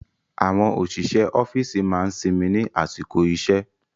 Àwọn òṣìṣẹ́ ọ́fíìsì máa ń sinmi ní àsìkò iṣẹ́